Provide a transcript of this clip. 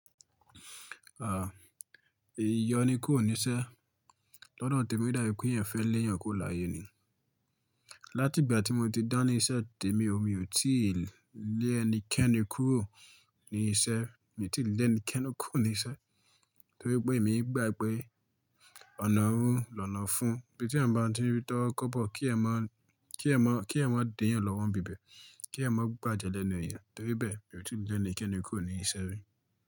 Ah, ìyọ́ ní kò ní ṣẹ́. Lọ́dọ̀ Tèmí, ìdápẹ́ eyan fẹ́ léèyàn kuro láye ni. Láti ìgbà tí mo ti dán ní iṣẹ́ Tèmí o, mi ò tíì lé ẹnikẹ́ni kúrò ní iṣẹ́. Mi ò tí lè ẹnikẹ́ni kú ní iṣẹ́ torípé èmi gbà pé ọ̀nà òun lọ́nà fún. Ibí tí eyan mstí rí tóro kọ́bọ̀ kí ẹ má, kí ẹyan má, kí ẹyan má déyàn lọ́wọ́ bíbẹ̀, kí ẹyan má gbàjẹ lẹ́nu èèyàn. Toríbẹ́ẹ̀ mi ò tí lè ẹnikẹ́ni kúrò ní iṣẹ́ mi.